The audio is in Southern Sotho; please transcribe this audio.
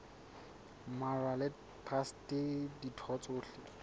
mmalwa le traste ditho tsohle